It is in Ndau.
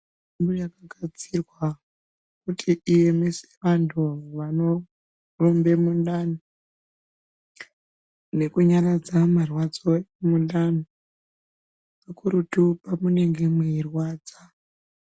Mitombo yakagadzirwa kuti iemese vantu vanorumbe mundani nekunyaradza marwadzo emundani kakurutu pamunenge mweirwadza.